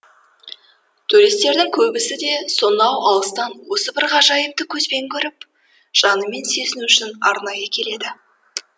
туристердің көбісі де сонау алыстан осы бір ғажайыпты көзбен көріп жанымен сезіну үшін арнайы келеді